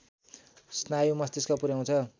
स्नायु मस्तिष्क पुर्‍याउँछ